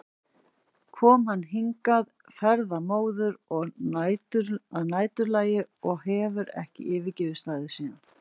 kom hann hingað ferðamóður að næturlagi og hefur ekki yfirgefið staðinn síðan.